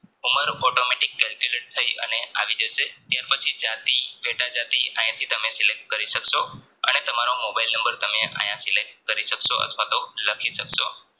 ઉંમર Automatic Calculate થઇ આવી જશે ત્યાર પછી જાતી પેટા જાતી આંયથી તમે Select કરી સક્સો અને તમારો મોબાઈલ નંબર આયાથી તમને Select કરી સક્સો અથવાતો લખી સક્સો